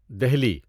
Delhi